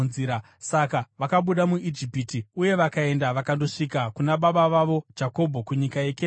Saka vakabuda muIjipiti uye vakaenda vakandosvika kuna baba vavo Jakobho kunyika yeKenani.